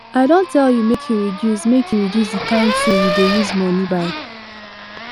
i don tell you make you reduce make you reduce the kyn thing you dey use money buy